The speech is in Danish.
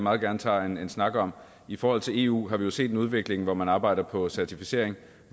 meget gerne tager en snak om i forhold til eu har vi jo set en udvikling hvor man arbejder på en certificering